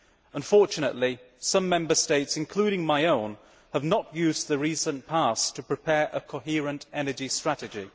Unfortunately, some Member States including my own have not used the recent past to prepare a coherent energy strategy.